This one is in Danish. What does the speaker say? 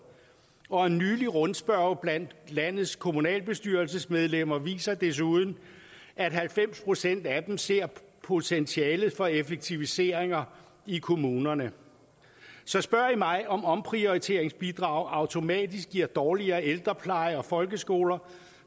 og en nylig rundspørge blandt landets kommunalbestyrelsesmedlemmer viser desuden at halvfems procent af dem ser potentialet for effektiviseringer i kommunerne så spørger man mig om omprioriteringsbidraget automatisk giver dårligere ældrepleje og folkeskoler